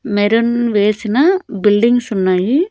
Maroon వేసిన buildings ఉన్నాయి.